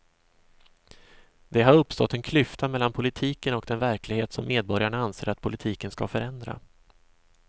Det har uppstått en klyfta mellan politiken och den verklighet som medborgarna anser att politiken ska förändra.